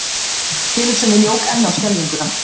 Tilhugsunin jók enn á skelfinguna.